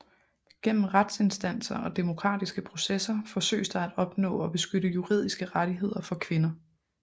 Gennem retsinstanser og demokratiske processer forsøges der at opnå og beskytte juridiske rettigheder for kvinder